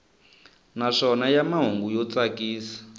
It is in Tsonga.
naswona ya mahungu yo tsakisa